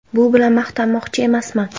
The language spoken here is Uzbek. Bu bilan maqtanmoqchi emasman.